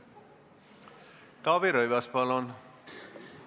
Taavi Rõivas, palun!